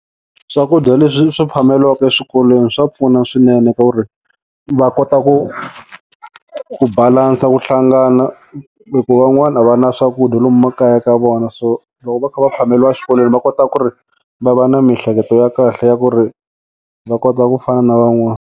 Swakudya leswi swi phameliwaka eswikolweni swa pfuna swinene ka ku ri va kota ku ku balance ku hlangana hi ku van'wana a va na swakudya lomu makaya ka vona so loko va kha va phameliwa eswikolweni va kota ku ri va va na mihleketo ya kahle ya ku ri va kota ku fana na van'wana.